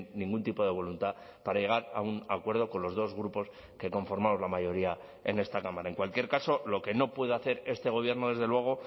ningún tipo de voluntad para llegar a un acuerdo con los dos grupos que conformamos la mayoría en esta cámara en cualquier caso lo que no puede hacer este gobierno desde luego